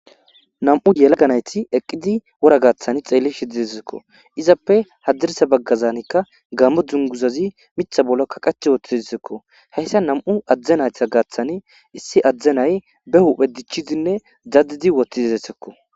Nam'u yelaganayti eqqidi wora gaaththan xeelli shididezekko izappe hadirsa baggazanikka gammo dzunguzazi mitha bollakkaqach woti desekko heyssa nam'u adzdenayta gaaththani issi adzdzenay be huphedichidinne daddidi woti detesekko.